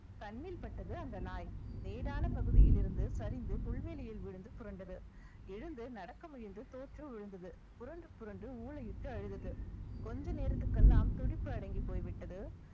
கண்ணில் பட்டது அந்த நாய் மேடான பகுதியிலிருந்து சரிந்து புல்வெளியில் விழுந்து புரண்டது எழுந்து நடக்க முயன்று தோற்று விழுந்தது புரண்டு புரண்டு ஊளையிட்டு அழுதது கொஞ்ச நேரத்துக்கு எல்லாம், துடிப்பு அடங்கிப் போய்விட்டது